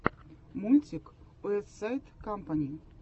мультик уэстсайд кампани